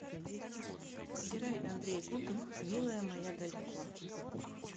играй андрей губин милая моя далеко